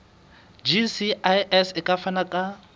gcis e ka fana ka